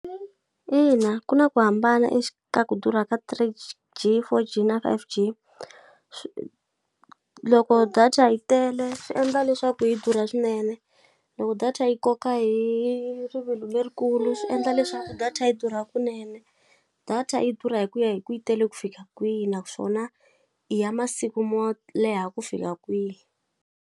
Ina ku na ku hambana ku durha ka three G, four G na five G. Loko data yi tele swi endla leswaku yi durha swinene, loko data yi yi koka hi rivilo lerikulu swi endla leswaku data yi durha kunene. Data yi durha hi ku ya hi ku yi tele ku fika kwihi naswona i ya masiku mo leha ku fika kwihi.